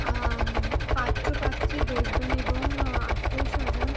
আঃ উমম পাত্রপাত্রী বসবেন এবং আত্মীয়স্বজন ।